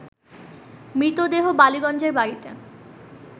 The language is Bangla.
মৃতদেহ বালিগঞ্জের বাড়িতে